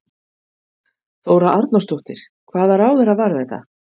Þóra Arnórsdóttir: Hvaða ráðherra var þetta?